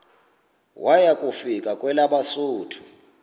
waya kufika kwelabesuthu